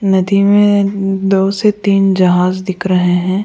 नदी में ए दो से तीन जहाज दिख रहे हैं।